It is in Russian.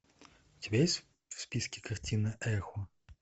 у тебя есть в списке картина эхо